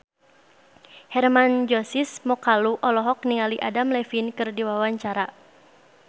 Hermann Josis Mokalu olohok ningali Adam Levine keur diwawancara